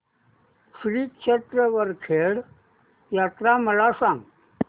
श्री क्षेत्र वरखेड यात्रा मला सांग